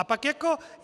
A pak jako...